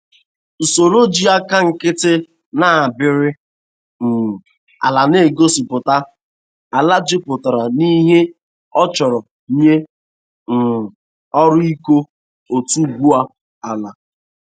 Usoroiji aka nkịtị na-abari um ala na-egosịpụta ala jupụtara n'ihe a chọrọ nye um ọrụ ịkọ otubu ala.